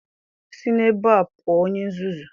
Si n'ebe a pụọ, onye nzuzu.